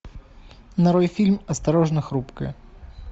нарой фильм осторожно хрупкая